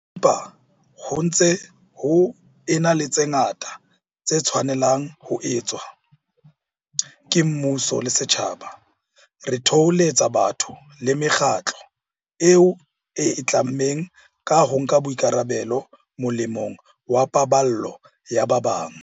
Empa, ho ntse ho ena le tse ngata tse tshwanelang ho etswa, ke mmuso le setjhaba. Re thoholetsa batho le mekgatlo eo e itlammeng ka ho nka boikarabelo molemong wa paballo ya ba bang.